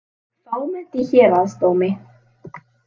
Fámennt í Héraðsdómi